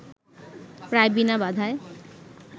প্রায় বিনা বাধায়